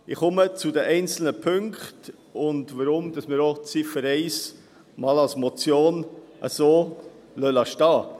Ich komme zu den einzelnen Punkten und dazu, weshalb wir Ziffer 1 als Motion einmal so stehen lassen.